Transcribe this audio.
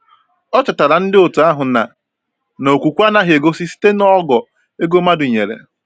Ọ chetaara ndi otu ahụ na na okwukwe anaghị egosi site n’ogo ego mmadụ nyere.